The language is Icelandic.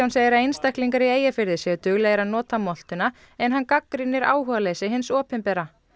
segir að einstaklingar í Eyjafirði séu duglegir að nota moltuna en hann gagnrýnir áhugaleysi hins opinbera